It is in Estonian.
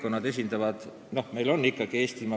Tegelikult esindavad kõik valimisringkonnad oma piirkonda.